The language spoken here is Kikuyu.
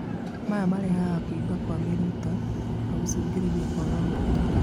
maya marehaga kũimba kwa mĩrita na gũcũngĩrĩrĩa kwaga gũkũra